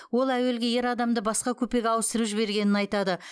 ол әуелгі ер адамды басқа купеге ауыстырып жібергенін айтады